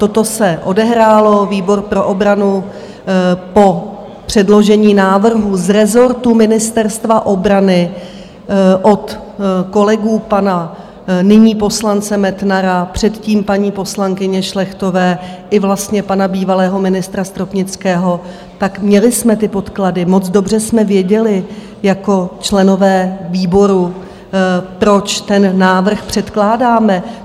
Toto se odehrálo, výbor pro obranu po předložení návrhu z rezortu Ministerstva obrany od kolegů pana nyní poslance Metnara, předtím paní poslankyně Šlechtové i vlastně pana bývalého ministra Stropnického, tak měli jsme ty podklady, moc dobře jsme věděli jako členové výboru, proč ten návrh předkládáme.